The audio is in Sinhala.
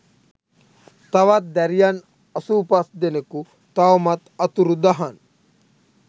තවත් දැරියන් අසූ පස් දෙනකු තවමත් අතුරුදහන්